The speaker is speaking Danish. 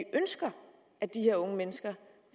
ønsker at de her unge mennesker